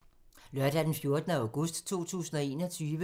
Lørdag d. 14. august 2021